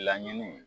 Laɲini